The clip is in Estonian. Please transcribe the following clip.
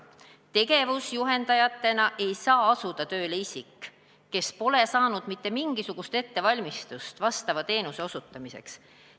Tegevus-juhendajana ei saa asuda tööle isik, kes pole saanud mingisugustki ettevalmistust vastava teenuse osutamiseks.